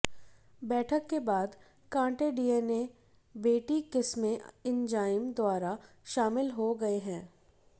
बैठक के बाद कांटे डीएनए बेटी किस्में एंजाइम द्वारा शामिल हो गए हैं